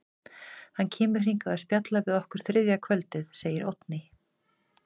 Hann kemur hingað að spjalla við okkur þriðja kvöldið, segir Oddný.